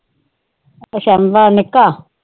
ਅੱਛਾ ਨਿੱਕਾ?